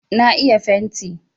Na iya fenti.